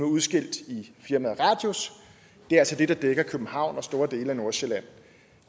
udskilt i firmaet radius det er altså det der dækker københavn og store dele af nordsjælland